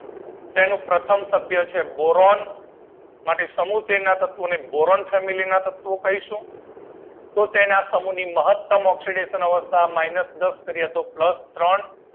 તેનું પ્રથમ સભ્ય છે બોરોન સમૂહ તેર ના તત્વો ને બોરોન ફેમિલી ના તત્વો કહીશું તેથી તેના સમૂહ ના તત્વો ની મહતમ ઓક્સીડેશન અવસ્થા માઇનસ દસ કરીયે તો પ્લસ ત્રણ